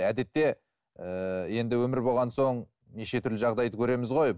әдетте ыыы енді өмір болған соң неше түрлі жағдайды көреміз ғой